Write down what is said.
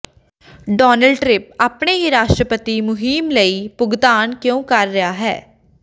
Donald Trump ਆਪਣੇ ਹੀ ਰਾਸ਼ਟਰਪਤੀ ਮੁਹਿੰਮ ਲਈ ਭੁਗਤਾਨ ਕਿਉਂ ਕਰ ਰਿਹਾ ਹੈ